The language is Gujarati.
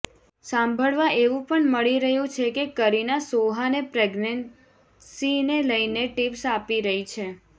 સાંભળવા એવું પણ મળી રહ્યું છે કે કરીના સોહાને પ્રેગ્નેન્સીને લઈને ટિપ્સ આપી રહી છે